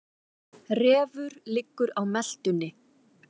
Refur liggur á meltunni.